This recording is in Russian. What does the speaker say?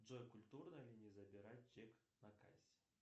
джой культурно ли не забирать чек на кассе